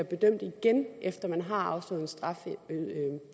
bedømt igen efter man har afsonet straf